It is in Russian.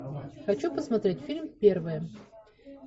хочу посмотреть фильм первые